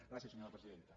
gràcies senyora presidenta